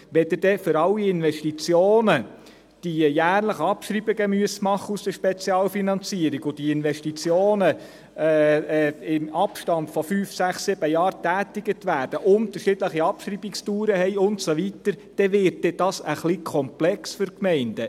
Wenn Sie für alle Investitionen die jährlichen Abschreibungen aus der Spezialfinanzierung machen müssen und diese Investitionen im Abstand von fünf, sechs, sieben Jahren mit unterschiedlicher Abschreibungsdauer und so weiter getätigt werden, dann wir dies etwas komplex für die Gemeinden.